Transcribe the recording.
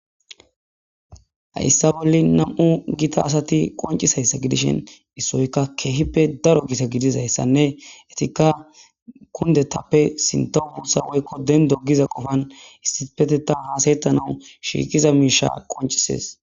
hayssa bolle nam7u gita asati qoncisayssa gidishen issoykka keehippe daro gita gidizayssanne etikka kundetappe sinta buussa woykko den dogiza qofan issipeteta haasayettanawu shiikiza miisha qoncises